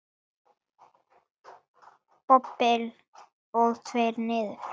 Dobl og tveir niður.